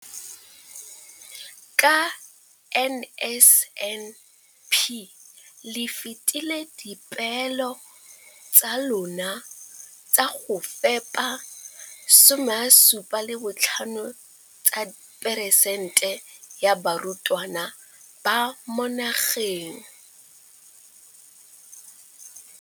Ka NSNP le fetile dipeelo tsa lona tsa go fepa 75 tsa peresente ya barutwana ba mo nageng.